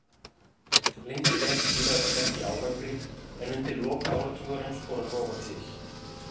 Lengi vel skilaði þetta ekki árangri en undir lok áratugarins fór að rofa til.